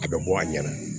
A bɛ bɔ a ɲɛna